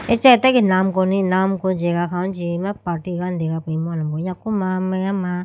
Acha atage namko ni namko jagah khawuji acha party ane dega po imu alombro yaku ma meya ma.